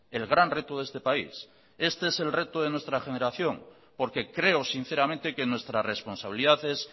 el gran reto de este país este es el reto de nuestra generación porque creo sinceramente que nuestra responsabilidad es